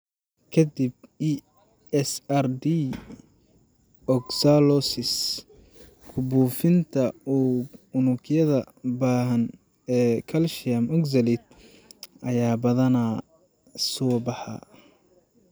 Ka dib ESRD, oxalosis (ku-buufinta unugyada baahsan ee calcium oxalate) ayaa badanaa soo baxa.